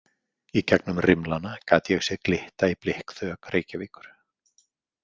Í gegnum rimlana gat ég séð glitta í blikkþök Reykjavíkur.